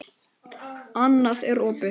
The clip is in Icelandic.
Annað er opið.